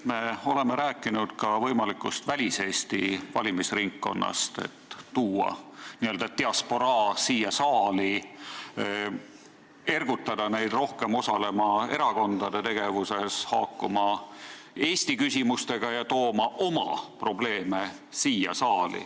Me oleme rääkinud ka võimalikust väliseesti valimisringkonnast, et tuua n-ö diasporaa siia saali, ergutada neid inimesi rohkem osalema erakondade tegevuses, haakuma Eesti küsimustega ja tooma siia saali oma probleeme.